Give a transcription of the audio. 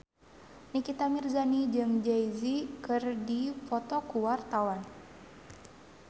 Nikita Mirzani jeung Jay Z keur dipoto ku wartawan